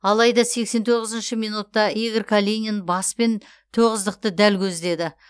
алайда сексен тоғызыншы минутта игорь калинин баспен тоғыздықты дәл көздеді